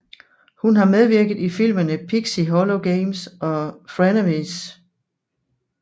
Hun har medvirket i filmene Pixie Hollow Games og Frenemies